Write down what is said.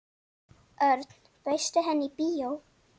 Örn, bauðstu henni í bíó?